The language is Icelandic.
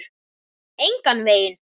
Engan veginn